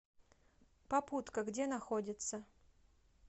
попутка где находится